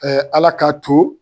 Ala k'a to